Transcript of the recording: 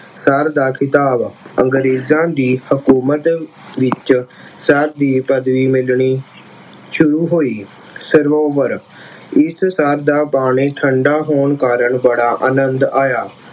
sir ਦਾ ਖ਼ਿਤਾਬ, ਅੰਗਰੇਜ਼ਾਂ ਦੀ ਹਕੂਮਤ ਵਿੱਚ sir ਦੀ ਪਦਵੀ ਮਿਲਣੀ ਸ਼ੁਰੂ ਹੋਈ। ਸਰੋਵਰ, ਇਸ ਸਰ ਦਾ ਪਾਣੀ ਠੰਡਾ ਹੋਣ ਕਾਰਨ ਬੜਾ ਅੰਨਦ ਆਇਆ।